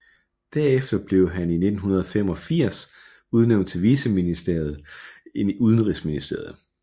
Derefter blev han i 1985 udnævnt til viceminister i udenrigsministeriet